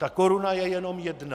Ta koruna je jenom jedna.